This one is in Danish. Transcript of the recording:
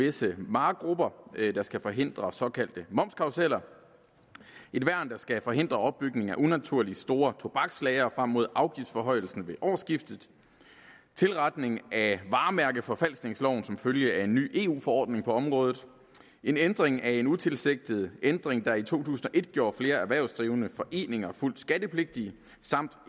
visse varegrupper der skal forhindre såkaldte momskarruseller et værn der skal forhindre opbygningen af unaturlig store tobakslagre frem mod afgiftsforhøjelsen ved årsskiftet tilretning af varemærkeforfalskningsloven som følge af en ny eu forordning på området en ændring af en utilsigtet ændring der i to tusind og et gjorde flere erhvervsdrivende foreninger fuldt skattepligtige samt